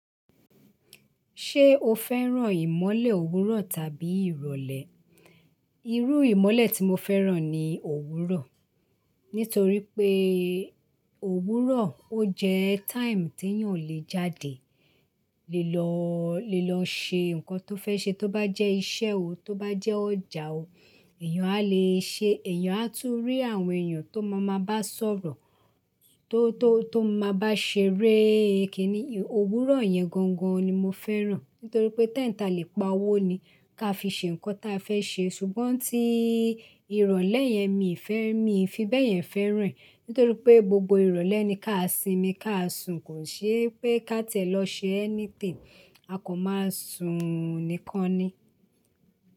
Ṣé o fẹ́ràn ìmọ̀lè òwúrọ̀ tàbí ìrọ̀lẹ́? Irú ìmọ̀lè tí mo fẹ́ràn ni òwúrọ̀. Nítorí pé òwúrọ̀ ó jẹ́ time tí èèyàn lè jáde lè lọ, lè lọ ṣe nǹkan tó fẹ́ ṣe tó bá jẹ́ iṣẹ́ o, tó bá jẹ́ ọjà o, èèyàn a lè ṣe, èèyàn á tún rí àwọn èèyàn tó má máa bá sọ̀rọ̀, tó, tó, tó máa bá ṣeré. Kìíní, òwúrọ̀ yẹn gangan ni mo fẹ́ràn. Nítorí pé time ta lè pa owó ni ká fi ṣe nǹkan ta fẹ́ ṣe. Ṣùgbọ́n tí ìrọ̀lẹ́ yẹn mi ò fẹ́, mi ò fi bẹ́ẹ̀ yẹn fẹ́ ràn. Nítorí pé gbogbo ìrọ̀lẹ́ ni ká simi, ká sun, kò ṣe pé ká tẹ̀ lọ ṣe anything a kò máa sun nìkan ni.